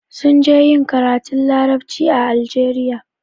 Sun je ƴin karatun laraɓci a Algeria.